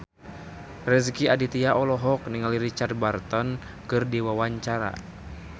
Rezky Aditya olohok ningali Richard Burton keur diwawancara